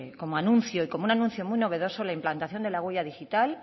como anuncio y como un anuncio muy novedoso la implantación de la huella digital